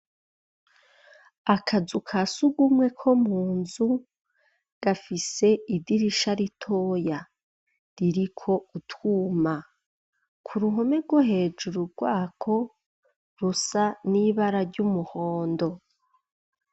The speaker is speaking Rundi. Akazu ka surwumwe ko mu nzu gafise idirisha ritoya ririko utwuma. Ku ruhome rwo hejuru rwako rusa n'ibara ry'umuhondo.